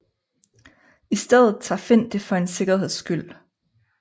I stedet tager Finn det for en sikkerheds skyld